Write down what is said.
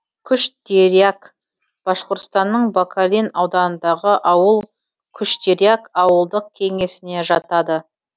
куштиряк башқұртстанның бакалин ауданындағы ауыл куштиряк ауылдық кеңесіне жатады